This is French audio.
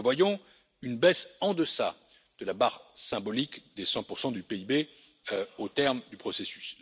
Nous prévoyons une baisse en deçà de la barre symbolique des 100 du PIB au terme du processus.